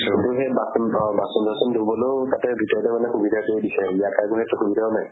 কিন্তু সেই বাচ্ন থোৱা, বাচুন চাচুন ধুবলৈও তাতে ভিতৰতে মানে সুবিধাটো দিছে। ইয়াত আকৌ সেইটো সুবিধাও নাই।